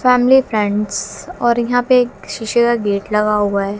Family friends और यहां पे एक शीशे का गेट लगा हुआ है।